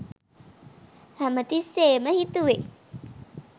හැමතිස්සේම හිතුවේ